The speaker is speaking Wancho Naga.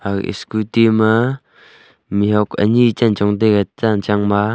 aga scooty ma mihuak ani chanchong taiga chanchang ma.